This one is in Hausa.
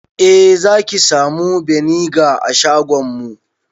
Eh zaki samu beniga a shagonmu